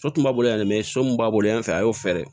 So tun b'a bolo yan dɛ so min b'a bolo yan fɛ a y'o fɛɛrɛ